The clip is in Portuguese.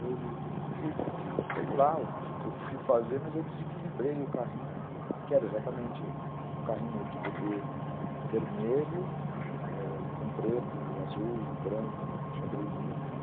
Eu fui, sei lá o que eu fui fazer, mas eu desequilibrei o carrinho, que era exatamente um carrinho de bebê vermelho, ãh, com preto, azul, branco, um xadrezinho, né?